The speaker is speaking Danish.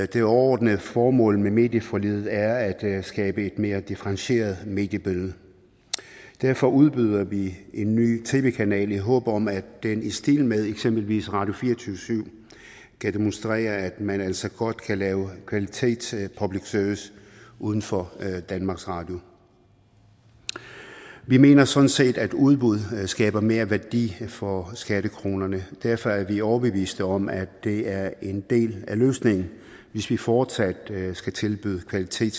det overordnede formål med medieforliget er at skabe et mere differentieret mediebillede derfor udbyder vi en ny tv kanal i håb om at den i stil med eksempelvis radio24syv kan demonstrere at man altså godt kan lave kvalitets public service uden for danmarks radio vi mener sådan set at udbud skaber mere værdi for skattekronerne derfor er vi overbeviste om at det er en del af løsningen hvis vi fortsat skal tilbyde kvalitet